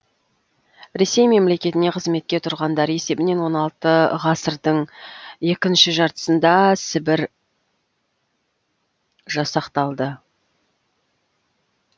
ресей мемлекетіне қызметке тұрғандар есебінен он алты ғасырдың екінші жартысында сібір жасақталды